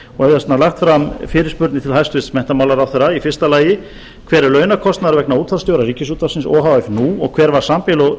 þess vegna lagt fram fyrirspurnir til hæstvirts menntamálaráðherra í fyrsta lagi hver er launakostnaður vegna útvarpsstjóra ríkisútvarpsins o h f nú og hver var